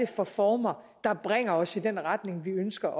for former der bringer os i den retning vi ønsker